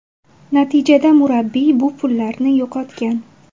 Natijada murabbiy bu pullarini yo‘qotgan.